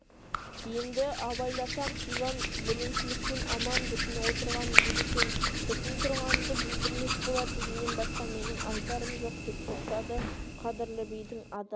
енді абайласам сибан бүліншіліктен аман бүтін отырған ел екен бүтін тұрғанды бүлдірмес болар дегеннен басқа менің айтарым жоқ деп тоқтады қадірлі бидің адал